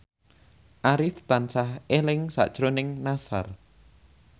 Arif tansah eling sakjroning Nassar